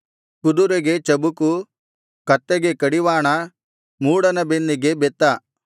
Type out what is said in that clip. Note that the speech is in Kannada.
ಕುದುರೆಗೆ ಚಬುಕು ಕತ್ತೆಗೆ ಕಡಿವಾಣ ಮೂಢನ ಬೆನ್ನಿಗೆ ಬೆತ್ತ